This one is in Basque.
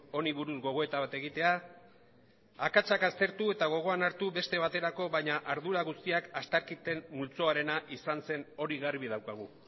honi buruz gogoeta bat egitea akatsak aztertu eta gogoan hartu beste baterako baina ardura guztiak astakirten multzoarena izan zen hori garbi daukagu